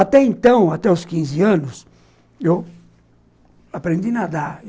Até então, até os quinze anos, eu ... aprendi nadar.